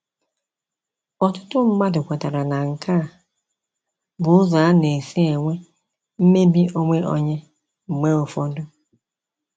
Ọtụtụ mmadụ kwetara na nke a bụ ụzọ a na-esi enwe mmebi onwe onye mgbe ụfọdụ.